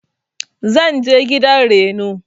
zanje gidan Reno.